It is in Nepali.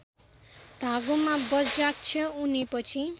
धागोमा बज्राक्ष उनेपछि